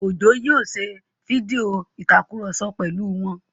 Òjó yóò ṣe fídíò ìtakùrọ̀sọ pẹ̀lú wọn